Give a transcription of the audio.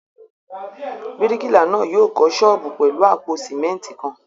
Bíríkìlà náà yóò kọ́ ṣọ́ọ́bù pẹ̀lú àpò sìmẹ́ńtì kan.